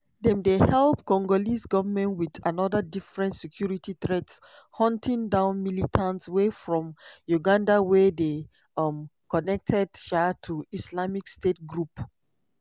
dem dey help congolese goment with anoda different security threat – hunting down militants wey from uganda wey dey um connected um to islamic state group.